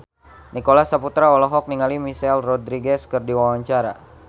Nicholas Saputra olohok ningali Michelle Rodriguez keur diwawancara